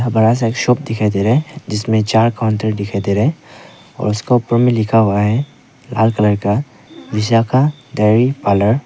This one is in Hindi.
बड़ा सा एक शॉप दिखाई दे रहा है जिसमे चार काउंटर दिखाई दे रहे हैं और उसका ऊपर में लिखा हुआ है लाल कलर का विशाखा डेयरी पार्लर ।